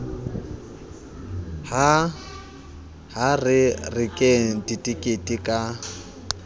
ha re rekeng ditekete ka